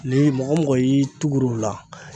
Ni mɔgɔ mɔgɔ y'i tugula o la.